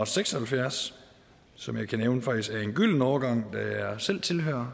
seks og halvfjerds som jeg kan nævne faktisk er en gylden årgang da jeg selv tilhører